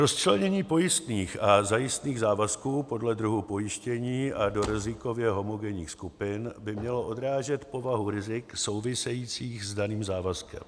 Rozčlenění pojistných a zajistných závazků podle druhu pojištění a do rizikově homogenních skupin by mělo odrážet povahu rizik souvisejících s daným závazkem.